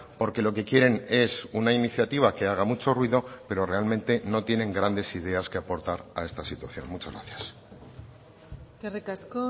porque lo que quieren es una iniciativa que haga mucho ruido pero realmente no tienen grandes ideas que aportar a esta situación muchas gracias eskerrik asko